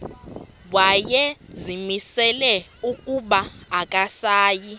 wayezimisele ukuba akasayi